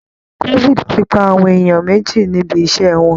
Covid ti pa àwọn èèyàn méjì níbi iṣṣẹ́ wọn